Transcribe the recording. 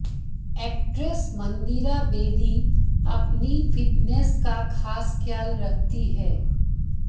actress Mandira Bedi अपनी fitness का खास ख्याल रखती है